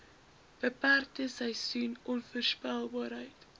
beperkte seisoen onvoorspelbaarheid